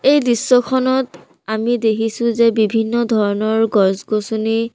এই দৃশ্যখনত আমি দেখিছোঁ যে বিভিন্ন ধৰণৰ গছ-গছনি--